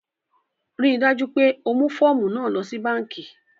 Ríì dájú pé o mú fọ̀ọ̀mú náà lọ sí bankí!